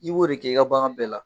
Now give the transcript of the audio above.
I b'o de kɛ i ka bagan bɛɛ la.